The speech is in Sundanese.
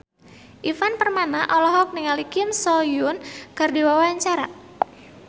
Ivan Permana olohok ningali Kim So Hyun keur diwawancara